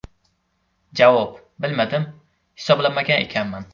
Javob: Bilmadim, hisoblamagan ekanman.